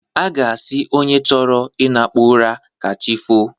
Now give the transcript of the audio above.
A ga-asị onye chọrọ ịnakpu ụra ka chi foo.